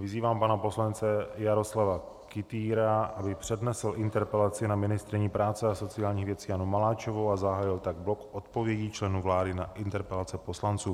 Vyzývám pana poslance Jaroslava Kytýra, aby přednesl interpelaci na ministryni práce a sociálních věcí Janu Maláčovou, a zahájil tak blok odpovědí členů vlády na interpelace poslanců.